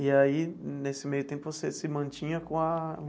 E aí, nesse meio tempo, você se mantinha com a.